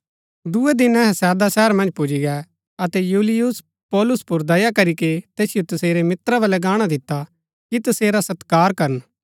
दूये दिन अहै सैदा शहर मन्ज पुजी गै अतै यूलियुस पौलुस पुर दया करीके तैसिओ तसेरै मित्रा बलै गाणा दिता कि तसेरा सत्कार करन